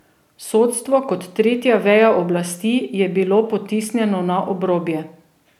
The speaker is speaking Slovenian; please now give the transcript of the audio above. Sodstvo kot tretja veja oblasti je bilo potisnjeno na obrobje.